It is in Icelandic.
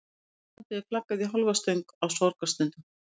Á Íslandi er flaggað í hálfa stöng á sorgarstundum.